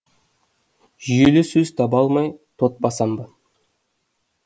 жүйелі сөз таба алмай тот басам ба